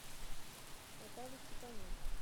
наталья степаненко